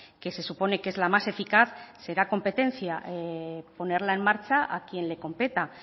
que se supone que es la más eficaz será competencia ponerla en marcha a quien le competa